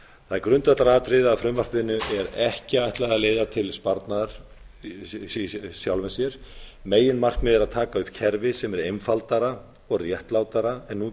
það er grundvallaratriði að frumvarpinu er ekki ætlað að leiða til sparnaðar í sjálfu sér meginmarkmiðið er að taka upp kerfi sem er einfaldara og réttlátara en nú